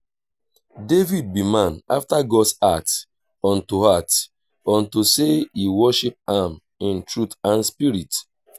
david be man after god's heart unto heart unto say he worship am in truth and spirit